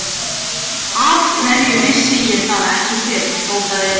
Af hverju vissi ég það ekki fyrr? hrópaði Elísa.